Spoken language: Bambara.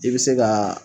I bɛ se ka